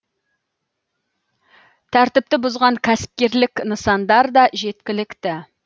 тәртіпті бұзған кәсіпкерлік нысандар да жеткілікті